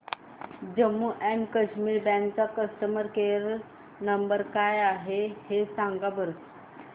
Jammu and Kashmir bank चा customer care number काय आहे हे मला सांगा